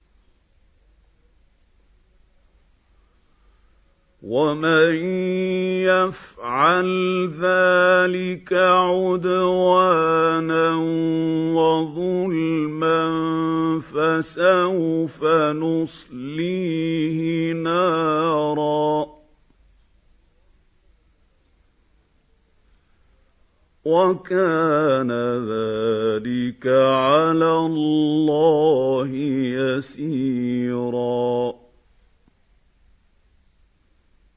وَمَن يَفْعَلْ ذَٰلِكَ عُدْوَانًا وَظُلْمًا فَسَوْفَ نُصْلِيهِ نَارًا ۚ وَكَانَ ذَٰلِكَ عَلَى اللَّهِ يَسِيرًا